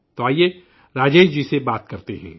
تو آئیے راجیش جی سے بات کرتے ہیں